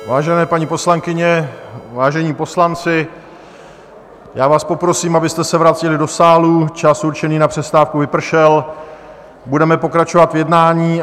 Vážené paní poslankyně, váženi poslanci, já vás poprosím, abyste se vrátili do sálu, čas určený na přestávku vypršel, budeme pokračovat v jednání.